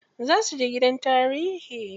Za suje gidan tarihi.